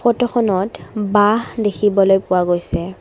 ফটোখনত বাঁহ দেখিবলৈ পোৱা গৈছে।